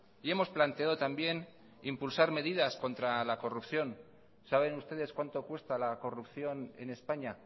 y hemos planteado también impulsar medidas contra la corrupción saben ustedes cuánto cuesta la corrupción en españa